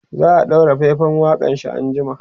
za'a ɗaura faifan waƙanshi an jima